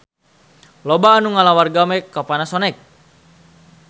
Loba anu ngalamar gawe ka Panasonic